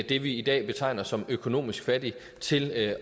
det vi i dag betegner som økonomisk fattig til at